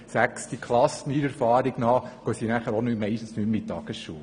Nach meiner Erfahrung gehen sie später meistens nicht mehr in die Tagesschule.